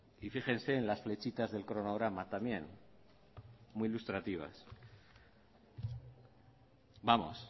y fíjense en las flechitas del cronograma también muy ilustrativas vamos